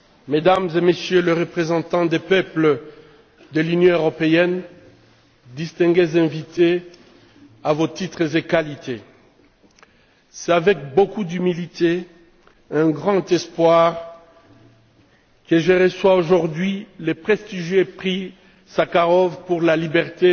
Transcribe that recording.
Mesdames et Messieurs les Représentants des peuples de l'Union européenne, distingués invités à vos titres et qualités, c'est avec beaucoup d'humilité et un grand espoir que je reçois aujourd'hui le prestigieux Prix Sakharov pour la liberté